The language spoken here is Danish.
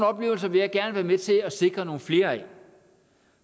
oplevelser vil jeg gerne være med til at sikre nogle flere af